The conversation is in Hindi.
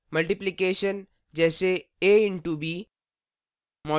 * multiplication: जैसे a * b